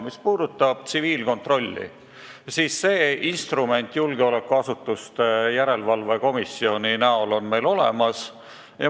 Mis puudutab tsiviilkontrolli, siis see instrument on julgeolekuasutuste järelevalve komisjoni kujul meil olemas.